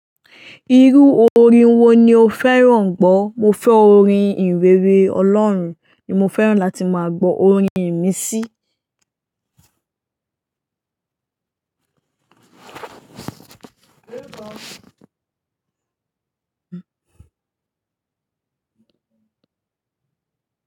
Irú orin wo ni o fẹ́ràn gbọ́? Mo fe orin ihinrere. Olorun ni mo feran lati maa gbo. Orin imisi.